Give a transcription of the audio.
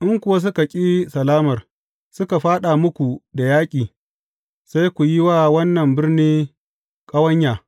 In kuwa suka ƙi salamar, suka fāɗa muku da yaƙi, sai ku yi wa wannan birni ƙawanya.